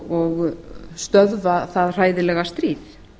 og stöðva það hræðilega stríð